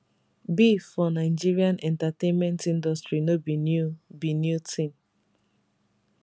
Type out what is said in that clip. beef for nigerian entertainment industry no be new be new tin